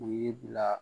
U y'i bila